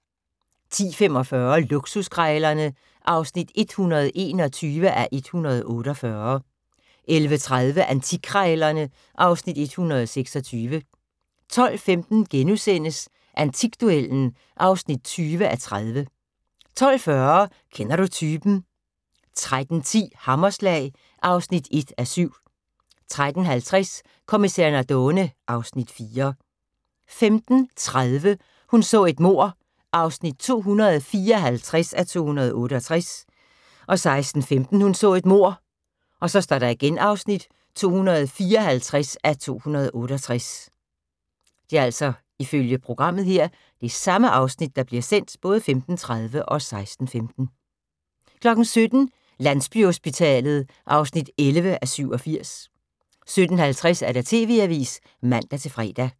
10:45: Luksuskrejlerne (121:148) 11:30: Antikkrejlerne (Afs. 126) 12:15: Antikduellen (20:30)* 12:40: Kender du typen? 13:10: Hammerslag (1:7) 13:50: Kommissær Nardone (Afs. 4) 15:30: Hun så et mord (254:268) 16:15: Hun så et mord (254:268) 17:00: Landsbyhospitalet (11:87) 17:50: TV-avisen (man-fre)